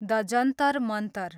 the Jantar Mantar